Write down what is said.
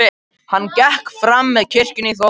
Hann gekk fram með kirkjunni í þokunni.